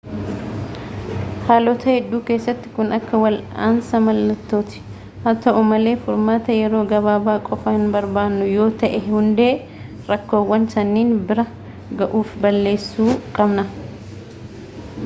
haalota hedduu keessatti kun akka wal'aansa mallattooti haa ta'u malee furmaata yeroo gabaabaa qofa hinbarbaannu yoo ta'e hundee rakkoowwan sanniinii bira ga'uu fi balleessuu qabna